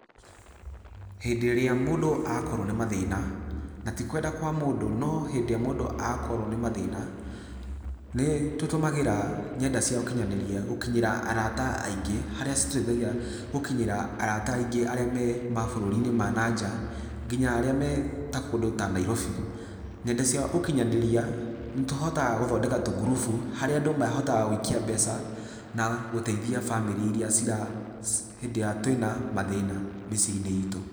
Hĩndĩ ĩrĩa mũndũ akorwo nĩ mathĩna, na ti kwenda kwa mũndũ, no hĩndĩ ĩrĩa mũndũ akorwo nĩ mathĩna, nĩ tũtũmagĩra ngenda cia ũkinyanĩria gũkinyĩra arata aingĩ, harĩa citũteithagia gũkinyĩra arata aingĩ arĩa me mabũrũri-inĩ ma na nja, nginya arĩa me ta kũndũ ta Nairobi. Ng'enda cia ũkinyanĩria, nĩ tũhotaga gũthondeka tũngurubu harĩa andũ mahotaga gũikia mbeca, na gũteithia bamĩrĩ iria cira, hĩndĩ ĩrĩa twĩna mathina mĩciĩ-inĩ itũ.